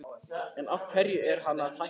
En af hverju er hann að hætta?